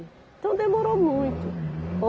Então demorou muito.